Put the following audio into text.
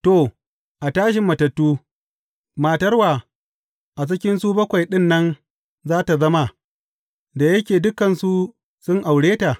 To, a tashin matattu, matar wa a cikinsu bakwai ɗin nan za tă zama, da yake dukansu sun aure ta?